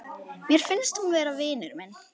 Mér finnst hún vera vinur minn.